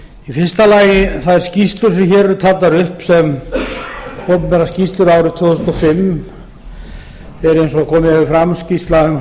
í fyrsta lagi þær skýrslur sem hér eru taldar upp sem opinberar skýrslur árið tvö þúsund og fimm eru eins og komið hefur fram skýrsla um